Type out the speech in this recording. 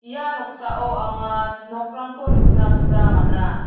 ia noksao anga nokrangko nikna gita man·a.